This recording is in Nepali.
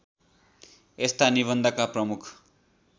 यस्ता निबन्धका प्रमुख